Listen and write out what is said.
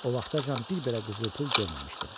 O vaxtacan bir belə qızıl pul görməmişdim.